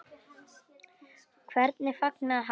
Og hvernig fagnaði hann?